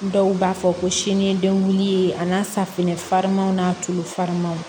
Dɔw b'a fɔ ko sini denwuli ani safinɛ farimanw n'a tulo faranw